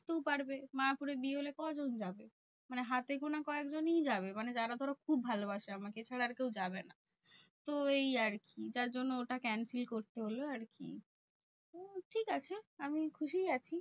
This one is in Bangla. সতেও পারবে। মায়াপুরে বিয়ে হলে কজন যাবে? মানে হাতে গোনা কয়েকজনই যাবে। মানে যারা ধরো খুব ভালোবাসে আমাকে এছাড়া আর কেউ যাবে না? তো এই আরকি। যার জন্য ওটা cancel করতে হলো আরকি। উম ঠিকাছে আমি খুশিই আছি।